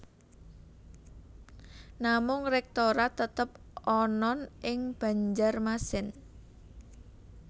Namung Rektorat tetep anan ing Banjarmasin